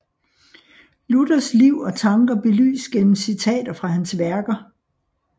Luthers liv og tanker belyst gennem citater fra hans værker